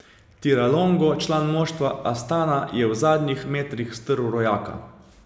Tiralongo, član moštva Astana, je v zadnjih metrih strl rojaka .